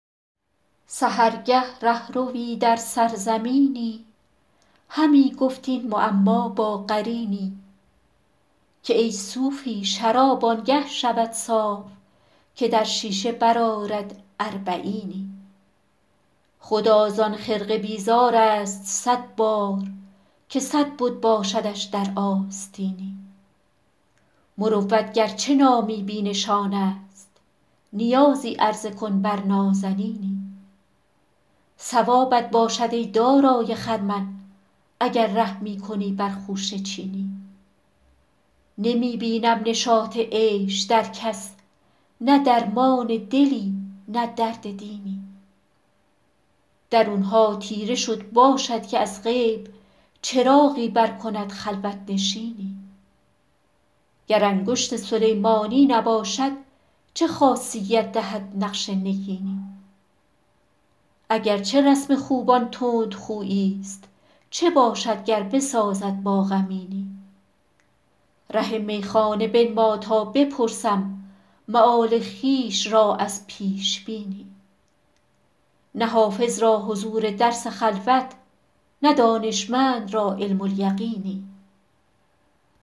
سحرگه ره ‎روی در سرزمینی همی گفت این معما با قرینی که ای صوفی شراب آن گه شود صاف که در شیشه برآرد اربعینی خدا زان خرقه بیزار است صد بار که صد بت باشدش در آستینی مروت گر چه نامی بی نشان است نیازی عرضه کن بر نازنینی ثوابت باشد ای دارای خرمن اگر رحمی کنی بر خوشه چینی نمی بینم نشاط عیش در کس نه درمان دلی نه درد دینی درون ها تیره شد باشد که از غیب چراغی برکند خلوت نشینی گر انگشت سلیمانی نباشد چه خاصیت دهد نقش نگینی اگر چه رسم خوبان تندخویی ست چه باشد گر بسازد با غمینی ره میخانه بنما تا بپرسم مآل خویش را از پیش بینی نه حافظ را حضور درس خلوت نه دانشمند را علم الیقینی